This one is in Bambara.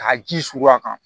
Ka ji suru a kan